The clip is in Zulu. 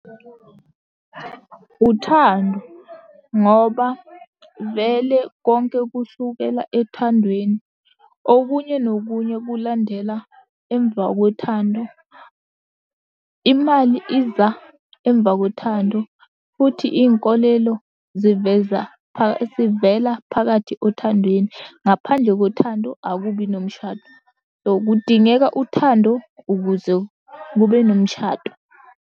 Uthando ngoba vele konke kusukela ethandweni. Okunye nokunye kulandela emva kwethando. Imali iza emva kothando, futhi iy'nkolelo ziveza sivela phakathi othandweni. Ngaphandle kothando akubi nomshado. So kudingeka uthando ukuze kube nomshado.